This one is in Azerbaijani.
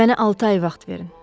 Mənə altı ay vaxt verin.